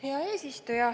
Hea eesistuja!